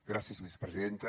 gràcies vicepresidenta